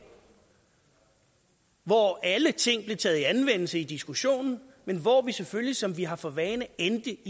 hvor alle ting blev taget i anvendelse i diskussionen men hvor vi selvfølgelig sådan som vi har for vane endte